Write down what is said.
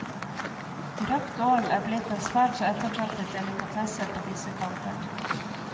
Røkt ål er blitt en svært så ettertraktet delikatesse på disse kanter.